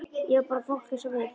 Já, bara fólk eins og við.